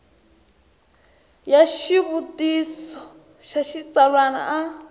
ya xivutiso xa xitsalwana a